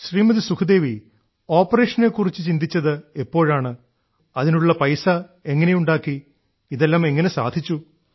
ശ്രീമതി സുഖ്ദേവി ഓപ്പറേഷനെ കുറിച്ച് ചിന്തിച്ചത് എപ്പോഴാണ് അതിനുള്ള പൈസ എങ്ങനെയുണ്ടാക്കി ഇതെല്ലാം എങ്ങനെ സാധിച്ചു